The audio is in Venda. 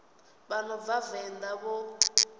vha no bva venḓa vho